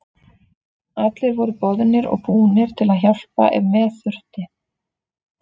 Allir voru boðnir og búnir til að hjálpa ef með þurfti.